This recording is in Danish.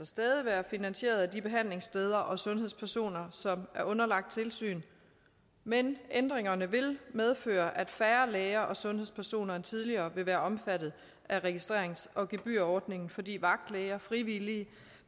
stadig være finansieret af de behandlingssteder og sundhedspersoner som er underlagt tilsyn men ændringerne vil medføre at færre læger og sundhedspersoner end tidligere vil være omfattet af registrerings og gebyrordningen fordi vagtlæger og frivillige